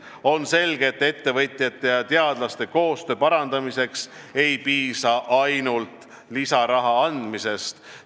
On selge, et ettevõtjate ja teadlaste koostöö parandamiseks ei piisa ainult lisaraha andmisest.